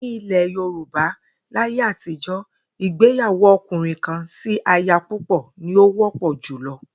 Ní ilè̩ Yorùbá láyé àtijo̩, ìgbéyàwó o̩kùnrin-kan-sí-aya-púpò̩ ní ó wó̩pò̩ jùlo̩